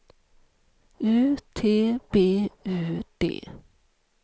U T B U D